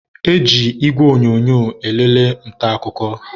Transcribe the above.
e ji igwe onyonyo elele nta akụkọ